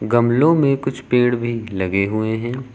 गमलो में कुछ पेड़ भी लगे हुए हैं।